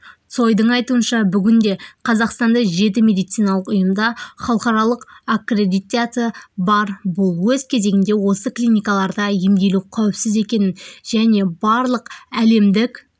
цойдың айтуынша бүгінде қазақстанда жеті медициналық ұйымда халықаралық аккредитациясы бар бұл өз кезегінде осы клиникаларда емделу қауіпсіз екенін және барлық әлемдік